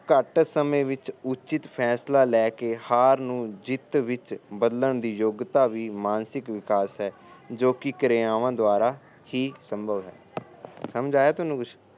ਘੱਟ ਸਮੇਂ ਵਿੱਚ ਉਚਿਤ ਫੈਸਲਾ ਲੈ ਕੇ ਹਾਰ ਨੂੰ ਜਿਤ ਵਿੱਚ ਬਦਲਣ ਦੀ ਯੋਗਿਤਾ ਵੀ ਮਾਨਸਿਕ ਵਿਕਾਸ ਹੈ ਜੋ ਕਿ ਕਿਰਿਆਵਾਂ ਦੁਆਰਾ ਹੀ ਸੰਭਵ ਹੈ ਸਮਝ ਆਇਆ ਤੈਨੂੰ ਕੁਛ